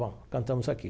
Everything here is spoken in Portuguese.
Cantamos aqui.